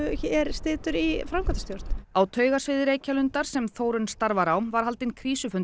situr í framkvæmdastjórn á Reykjalundar sem Þórunn starfar á var haldinn